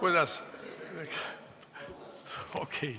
Aitäh!